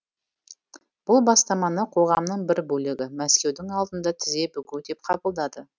бұл бастаманы қоғамның бір бөлігі мәскеудің алдында тізе бүгу деп қабылдады